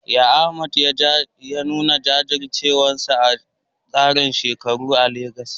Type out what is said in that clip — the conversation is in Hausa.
Yaya Ahmad ya nuna jajircewarsa akan tsarin shekaru a Legas?